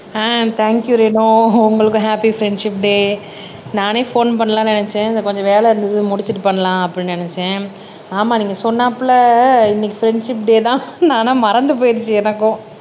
அஹ் thank you Renu உங்களுக்கும் happy friendship day நானே phone பண்ணலாம்னு நினைச்சேன் கொஞ்சம் வேலை இருந்தது முடிச்சுட்டு பண்ணலாம் அப்படின்னு நினைச்சேன் ஆமா நீங்க சொன்னாப்புல இன்னைக்கு ஃப்ரெண்ட்ஷிப் டே தான் ஆனா மறந்து போய்டுச்சு எனக்கும்